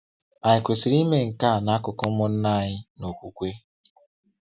Anyị kwesịrị ime nke a n’akụkụ ụmụnna anyị na okwukwe.